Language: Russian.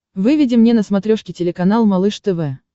выведи мне на смотрешке телеканал малыш тв